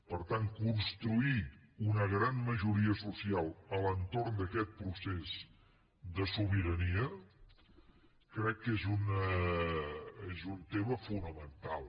per tant construir una gran majoria social a l’entorn d’aquest procés de sobirania crec que és un tema fonamental